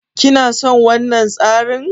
Kina son wannan tsarin?